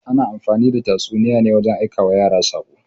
Ana amfani the tatsuniya wajen aikawa yara saƙo.